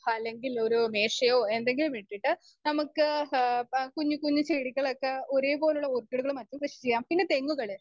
speaker 2 അല്ലെങ്കിൽ ഒരു മേശയോ എന്തെങ്കിലുമിട്ടിട്ട് നമ്മക്ക് ഏഹ് കുഞ്ഞ്ക്കുഞ്ഞ് ചെടികളൊക്കെ ഏഹ് ഒരേപോലുള്ള ഓർക്കിഡുകളുമൊക്കെ കൃഷിചെയ്യാം.പിന്നെ തെങ്ങുകള്